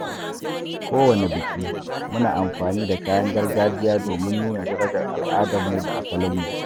Kowane biki, muna amfani da kayan gargajiya domin nuna darajar al’adunmu da asalinmu.